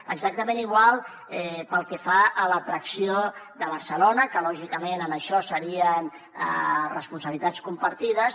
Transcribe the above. exactament igual pel que fa a l’atracció de barcelona que lògicament en això serien responsabilitats compartides